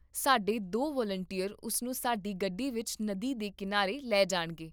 ਸਾਡੇ ਦੋ ਵਲੰਟੀਅਰ ਉਸ ਨੂੰ ਸਾਡੀ ਗੱਡੀ ਵਿੱਚ ਨਦੀ ਦੇ ਕੀਨਾਰੇ ਲੈ ਜਾਣਗੇ